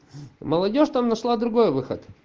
молодёжь там нашла другой выход